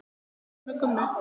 Minning um ömmu Gummu.